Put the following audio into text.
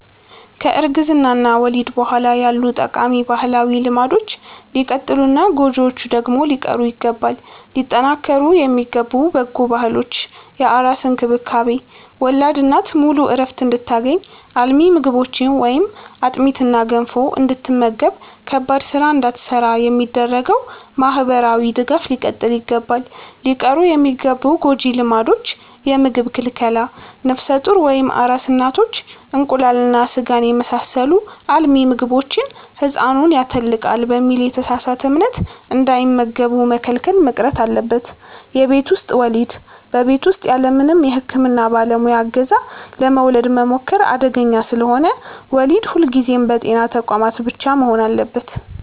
ከእርግዝና እና ወሊድ በኋላ ያሉ ጠቃሚ ባህላዊ ልማዶች ሊቀጥሉና ጎጂዎቹ ደግሞ ሊቀሩ ይገባል። ሊጠናከሩ የሚገቡ በጎ ባህሎች፦ የአራስ እንክብካቤ፦ ወላድ እናት ሙሉ ዕረፍት እንድታገኝ፣ አልሚ ምግቦችን (አጥሚትና ገንፎ) እንድትመገብና ከባድ ሥራ እንዳትሠራ የሚደረገው ማኅበራዊ ድጋፍ ሊቀጥል ይገባል። ሊቀሩ የሚገቡ ጎጂ ልማዶች፦ የምግብ ክልከላ፦ ነፍሰ ጡር ወይም አራስ እናቶች እንቁላልና ሥጋን የመሳሰሉ አልሚ ምግቦችን «ሕፃኑን ያተልቃል» በሚል የተሳሳተ እምነት እንዳይመገቡ መከልከል መቅረት አለበት። የቤት ውስጥ ወሊድ፦ በቤት ውስጥ ያለምንም የሕክምና ባለሙያ ዕገዛ ለመውለድ መሞከር አደገኛ ስለሆነ፣ ወሊድ ሁልጊዜም በጤና ተቋማት ብቻ መሆን አለበት።